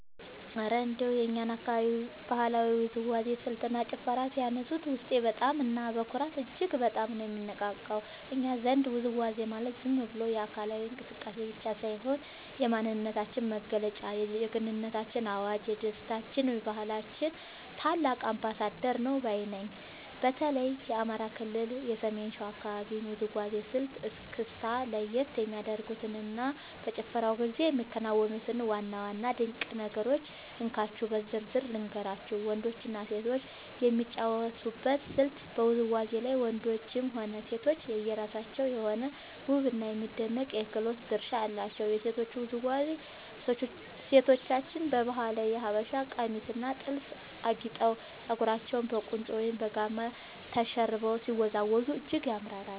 እረ እንደው የእኛን አካባቢ የባህላዊ ውዝዋዜ ስልትና ጭፈርማ ሲያነሱት፣ ውስጤ በደስታና በኩራት እጅግ በጣም ነው የሚነቃቃው! እኛ ዘንድ ውዝዋዜ ማለት ዝም ብሎ አካላዊ እንቅስቃሴ ብቻ ሳይሆን፣ የማንነታችን መገለጫ፣ የጀግንነታችን አዋጅ፣ የደስታችንና የባህላችን ታላቅ አምባሳደር ነው ባይ ነኝ። በተለይ የአማራ ክልል የሰሜን ሸዋ አካባቢን የውዝዋዜ ስልት (እስክስታ) ለየት የሚያደርጉትንና በጭፈራው ጊዜ የሚከናወኑትን ዋና ዋና ድንቅ ነገሮች እንካችሁ በዝርዝር ልንገራችሁ፦ . ወንዶችና ሴቶች የሚጫወቱበት ስልት በውዝዋዜው ላይ ወንዶችም ሆኑ ሴቶች የየራሳቸው የሆነ ውብና የሚደነቅ የክህሎት ድርሻ አላቸው። የሴቶቹ ውዝዋዜ፦ ሴቶቻችን በባህላዊው የሀበሻ ቀሚስና ጥልፍ አጊጠው፣ ፀጉራቸውን በቁንጮ ወይም በጋማ ተሸርበው ሲወዝወዙ እጅግ ያምራሉ።